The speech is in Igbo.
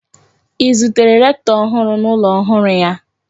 I zutere rektọ ọhụrụ n'ụlọ ọhụrụ ya?